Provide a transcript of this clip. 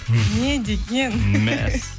не деген